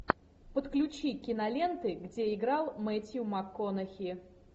подключи киноленты где играл мэттью макконахи